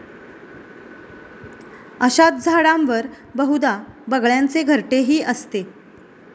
अशाच झाडांवर बहुदा बगळ्यांचे घरटेही असते.